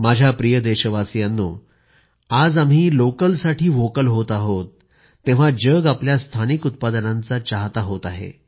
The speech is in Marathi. माझ्या प्रिय देशवासियांनो आज आम्ही लोकलसाठी व्होकल होत आहोत तेव्हा जग आपल्या स्थानिक उत्पादनांचा चाहतं होत आहे